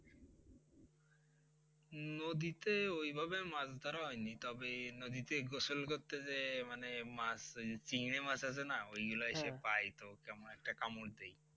নদীতে ওইভাবে মাছ ধরা হয় নি তবে নদীতে গোসল করতে যেয়ে মানে মাছ ওই চিংড়ি মাছ আছে না ওইগুলা এসে পায়ে তো একটা কামড় দেই